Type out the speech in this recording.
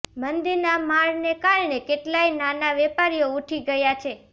મંદીના મારને કારણે કેટલાય નાના વેપારીઓ ઊઠી ગયા છે